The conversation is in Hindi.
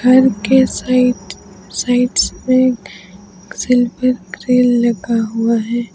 घर के साइड साइडस में सिल्वर ग्रे लगा हुआ है।